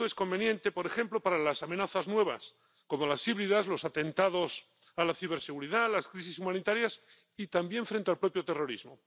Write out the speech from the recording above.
Esto es conveniente, por ejemplo, para las amenazas nuevas, como las híbridas, los atentados a la ciberseguridad, las crisis humanitarias y también frente al propio terrorismo.